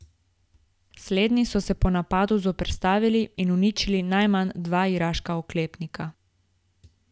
Slednji so se napadu zoperstavili in uničili najmanj dva iraška oklepnika.